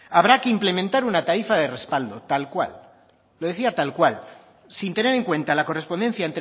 habrá que implementar una tarifa de respaldo tal cual lo decía tal cual sin tener en cuenta la correspondencia